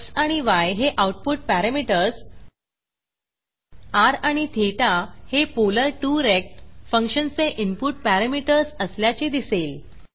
x आणि y हे output parameters r आणि ठेता हे polar2रेक्ट फंक्शनचे इनपुट पॅरामीटर्स असल्याचे दिसेल